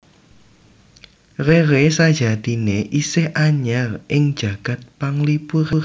Rere sajatiné isih anyar ing jagad panglipuran